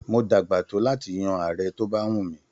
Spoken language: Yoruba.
Mo dàgbà to láti yan Ààrẹ to bá wù mí.